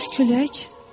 Bəs külək?